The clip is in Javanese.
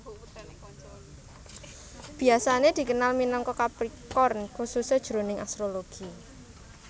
Biasané dikenal minangka Capricorn khususé jroning astrologi